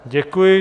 Děkuji.